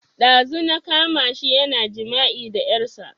Ɗazu na kama shi yana jima'i da ƴarsa